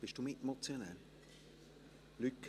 Sind Sie Mitmotionär, Herr Mentha?